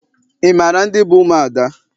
Ị maara ndị bụ ụmụada?